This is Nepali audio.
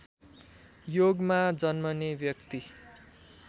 योगमा जन्मने व्यक्ति